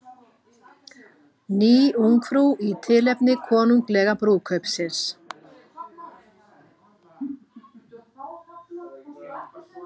Ný Ungfrú í tilefni konunglega brúðkaupsins